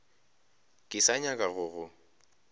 ke sa nyaka go go